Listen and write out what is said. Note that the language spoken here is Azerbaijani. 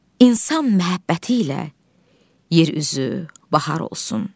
İnsan məhəbbəti ilə yer üzü bahar olsun.